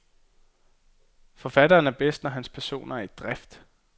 Forfatteren er bedst når hans personer er i drift.